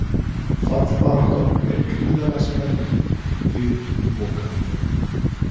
Fallbaráttan er gríðarlega spennandi fyrir lokaumferðina.